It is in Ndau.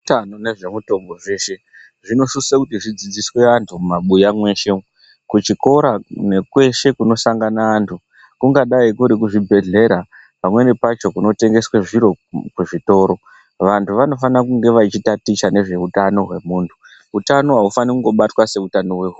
Zvehutano nezvemitombo zveshe zvinosisa zvidzidziswe antu mumabuya mweshe, kuzvikora nekweshe kunosangana antu kungadai kuri kuzvibhedhlera pamweni pacho kunotengeswa zviro kuzvitoro. Vantu vanofana kunge vachitaticha nezvehutano wemuntu hutano haufani kubatwa semutano wehuku.